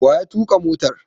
Wa ya tuƙa motar?